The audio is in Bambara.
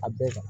A bɛɛ